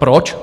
Proč?